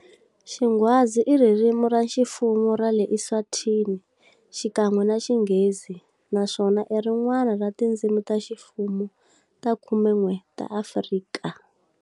Xingwazi i ririmi ra ximfumo ra le Eswatini, xikan'we na Xinghezi, naswona i rin'wana ra tindzimi ta ximfumo ta khumen'we ta Afrika.